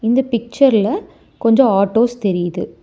இந்த பிச்சர்ல கொஞ்சோ ஆட்டோஸ் தெரியிது.